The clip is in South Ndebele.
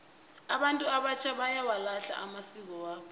abantu abatjha bayawalahla amasiko wabo